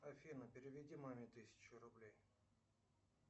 афина переведи маме тысячу рублей